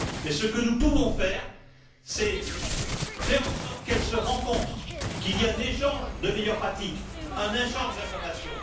Mais, ce que nous pouvons faire, c'est faire en sorte qu'elles se rencontrent, qu'il y ait un échange de meilleures pratiques, un échange d'informations.